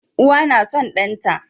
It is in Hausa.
Uwa na son ɗan ta